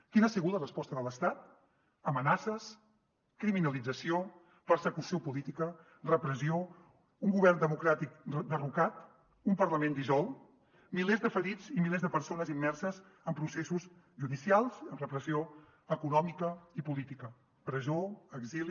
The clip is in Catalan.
quina ha sigut la resposta de l’estat amenaces criminalització persecució política repressió un govern democràtic derrocat un parlament dissolt milers de ferits i milers de persones immerses en processos judicials amb repressió econòmica i política presó exili